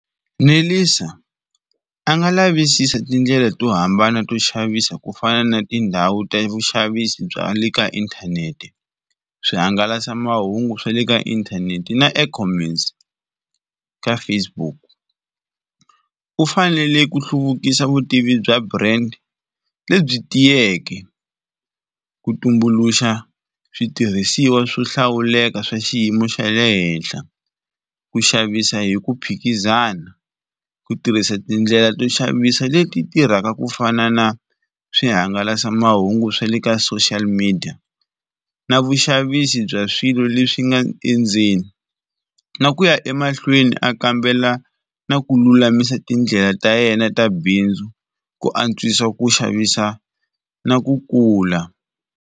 Nelisa a nga lavisisa tindlela to hambana to xavisa kufana na tindhawu ta vuxavisi bya le ka inthanete, swihangalasamahungu swa le ka inthanete na E-commerce ka Facebook. U fanele ku hluvukisa vutivi bya brand lebyi tiyeke, ku tumbuluxa switirhisiwa swo hlawuleka swa xiyimo xa le henhla, ku xavisa hi ku phikizana, ku tirhisa tindlela to xavisa leti tirhaka kufana na swihangalasamahungu swa le ka social media na vuxavisi bya swi swilo leswi nga endzeni na ku ya emahlweni a kambela na ku lulamisa tindlela ta yena ta bindzu, ku antswisa ku xavisa na ku kula.